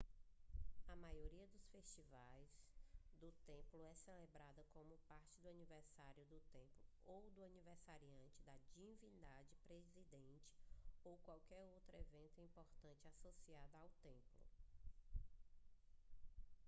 a maioria dos festivais do templo é celebrada como parte do aniversário do templo ou do aniversário da divindade presidente ou qualquer outro evento importante associado ao templo